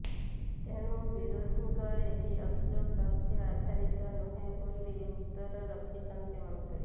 ତେଣୁ ବିରୋଧୀଙ୍କ ଏହି ଅଭିଯୋଗ ତଥ୍ୟ ଆଧାରିତ ନୁହଁ ବୋଲି ଉତ୍ତର ରଖିଛନ୍ତି ମନ୍ତ୍ରୀ